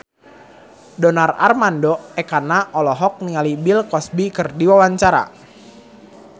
Donar Armando Ekana olohok ningali Bill Cosby keur diwawancara